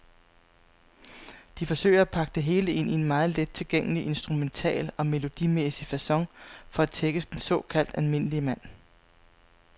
De forsøger at pakke det hele ind i en meget let tilgængelig instrumental og melodimæssig facon for at tækkes den såkaldt almindelige mand.